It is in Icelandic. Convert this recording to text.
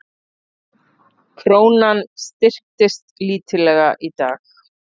Krónan styrktist lítillega í dag